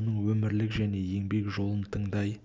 оның өмірлік және еңбек жолын тыңдай